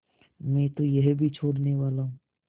मैं तो यह भी छोड़नेवाला हूँ